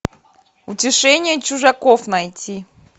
утешение чужаков найти